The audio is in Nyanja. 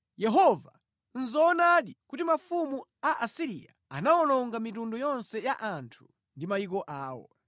“Yehova, nʼzoonadi kuti mafumu a Asiriya anawononga mitundu yonse ya anthu ndi mayiko awo.